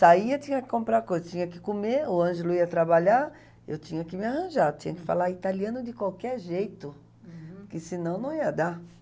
Saía, tinha que comprar coisa, tinha que comer, o Ângelo ia trabalhar, eu tinha que me arranjar, tinha que falar italiano de qualquer jeito, uhum, por que senão não ia dar.